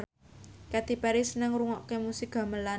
Katy Perry seneng ngrungokne musik gamelan